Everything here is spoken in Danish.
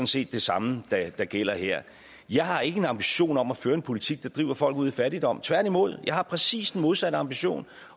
set det samme der gælder her jeg har ikke en ambition om at føre en politik der driver folk ud i fattigdom tværtimod jeg har præcis den modsatte ambition